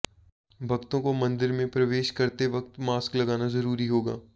भक्तों को मंदिर में प्रवेश करते वक्त मास्क लगाना जरूरी होगा